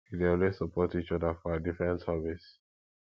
we dey always support each other for our different hobbies